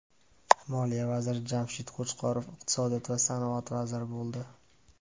Moliya vaziri Jamshid Qo‘chqorov iqtisodiyot va sanoat vaziri bo‘ldi.